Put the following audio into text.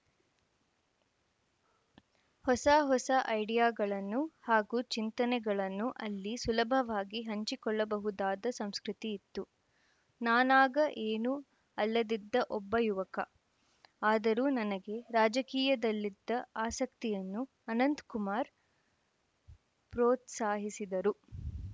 ಹೊಸ ಹೊಸ ಐಡಿಯಾಗಳನ್ನು ಹಾಗೂ ಚಿಂತನೆಗಳನ್ನು ಅಲ್ಲಿ ಸುಲಭವಾಗಿ ಹಂಚಿಕೊಳ್ಳಬಹುದಾದ ಸಂಸ್ಕೃತಿಯಿತ್ತು ನಾನಾಗ ಏನೂ ಅಲ್ಲದಿದ್ದ ಒಬ್ಬ ಯುವಕ ಆದರೂ ನನಗೆ ರಾಜಕೀಯದಲ್ಲಿದ್ದ ಆಸಕ್ತಿಯನ್ನು ಅನಂತಕುಮಾರ್‌ ಪ್ರೋತ್ಸಾಹಿಸಿದರು